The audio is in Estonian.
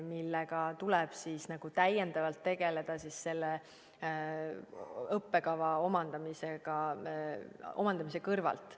Sellega tuleb siis täiendavalt tegeleda õppekava omandamise kõrvalt.